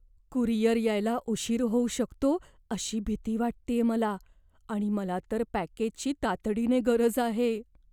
Courier यायला उशीर होऊ शकतो अशी भीती वाटतेय मला आणि मला तर पॅकेजची तातडीने गरज आहे.